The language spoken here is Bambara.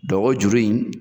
o juru in